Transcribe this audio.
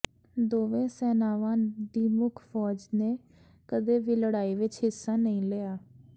ਦੋਵੇਂ ਸੈਨਾਵਾਂ ਦੀ ਮੁੱਖ ਫ਼ੌਜ ਨੇ ਕਦੇ ਵੀ ਲੜਾਈ ਵਿਚ ਹਿੱਸਾ ਨਹੀਂ ਲਿਆ